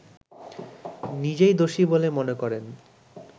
নিজেই দোষী বলে মনে করেন